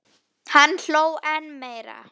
Hann hló enn meira.